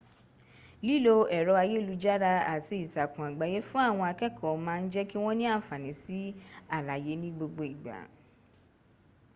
lilo ẹrọ ayelujara ati itakun-agbaye fun awọn akẹkọ maa jẹki wọn ni anfani si alaye ni gbogbo igba